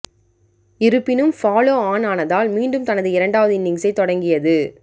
இருப்பினும் follow on ஆனதால் மீண்டும் தனது இரண்டாவது இன்னிங்ஸை தொடங்கியது